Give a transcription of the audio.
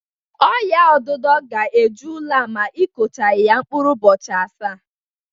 Ọ́nyà odudo ga-eju ụlọ a ma ikochaghị ya na mkpụrụ ụbọchị asaa.